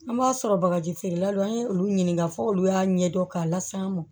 An b'a sɔrɔ bagaji feerela don an ye olu ɲininka fɔ olu y'a ɲɛdɔn k'a lase an ma